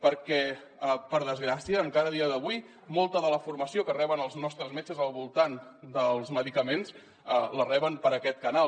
perquè per desgràcia encara a dia d’avui molta de la formació que reben els nostres metges al voltant dels medicaments la reben per aquest canal